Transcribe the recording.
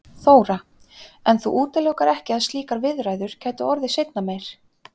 Þóra: En þú útilokar ekki að slíkar viðræður gætu orðið seinna meir?